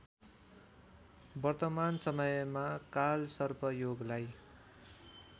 वर्तमान समयमा कालसर्पयोगलाई